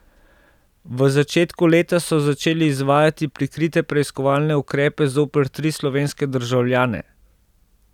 V začetku leta so začeli izvajati prikrite preiskovalne ukrepe zoper tri slovenske državljane.